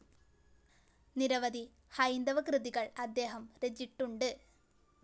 നിരവധി ഹൈന്ദവ കൃതികൾ അദ്ദേഹം രചിട്ടുണ്ട്.